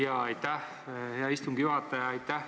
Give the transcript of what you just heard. Jaa, aitäh, hea istungi juhataja!